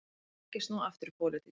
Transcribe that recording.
Vill ekki snúa aftur í pólitík